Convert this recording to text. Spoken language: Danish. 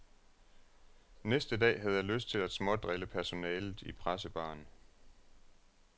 Næste dag havde jeg lyst til at smådrille personalet i pressebaren.